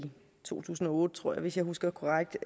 to tusind og otte tror jeg hvis jeg husker korrekt